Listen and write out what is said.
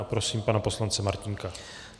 A prosím pana poslance Martínka.